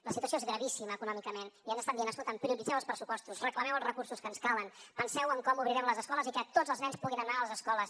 la situació és gravíssima econòmicament i ens estan dient escolta’m prioritzeu els pressupostos reclameu els recursos que ens calen penseu en com obrirem les escoles i que tots els nens puguin anar a les escoles